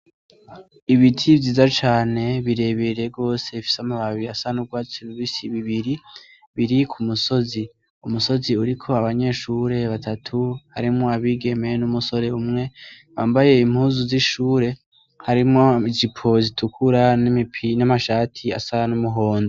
Ibiti vyiza cane birebere rwose fise amababiri asa n'urwacu bibisi bibiri biri ku musozi umusozi uriko abanyeshure batatu harimwo abigemeye n'umusore umwe bambaye impuzu z'ishure harimwo ijaipo zitukura n'imipi n'amashati asa n'umuhondo.